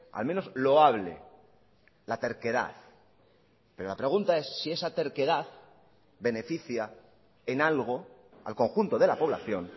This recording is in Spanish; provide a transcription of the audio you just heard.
al menos loable la terquedad pero la pregunta es si esa terquedad beneficia en algo al conjunto de la población